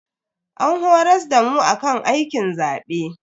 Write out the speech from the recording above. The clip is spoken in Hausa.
An horas damu akan aikin zabe.